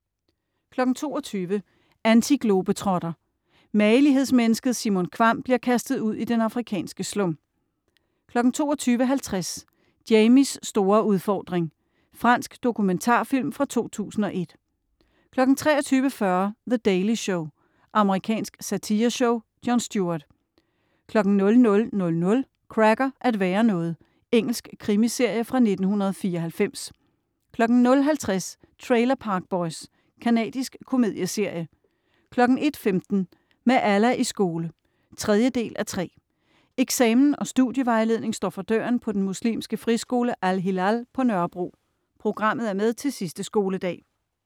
22.00 Antiglobetrotter. Magelighedsmennesket Simon Kvamm bliver kastet ud i den afrikanske slum 22.50 Jamies store udfordring. Fransk dokumentarfilm fra 2001 23.40 The Daily Show. Amerikansk satireshow. Jon Stewart 00.00 Cracker: At være noget. Engelsk krimiserie fra 1994 00.50 Trailer Park Boys. Canadisk komedieserie 01.15 Med Allah i skole. 3:3 Eksamen og studievejledning står for døren på den muslimske friskole Al-Hilal på Nørrebro. Programmet er med til sidste skoledag